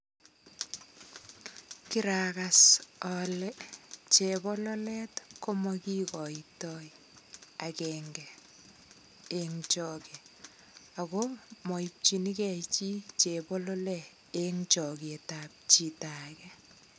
Kiragas kele chebololet komakigoito agenge eng chage ago maipchinige chi chebololet eng choget ab chito age.